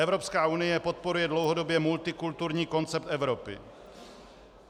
Evropská unie podporuje dlouhodobě multikulturní koncept Evropy.